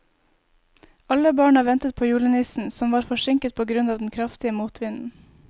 Alle barna ventet på julenissen, som var forsinket på grunn av den kraftige motvinden.